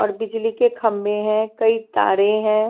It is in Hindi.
और बिजली के खंबे है कई तारे है।